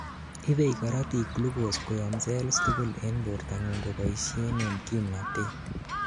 ibei korotik glucose koyom cells tugul en bortangung koboishen en kimnatet